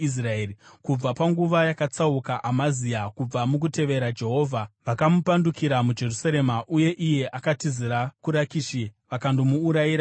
Kubva panguva yakatsauka Amazia kubva mukutevera Jehovha, vakamupandukira muJerusarema uye iye akatizira kuRakishi vakandomuurayira ikoko.